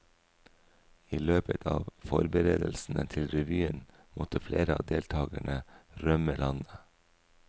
I løpet av forberedelsene til revyen måtte flere av deltagerne rømme landet.